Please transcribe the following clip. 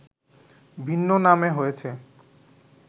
ভিন্ন নামে হয়েছে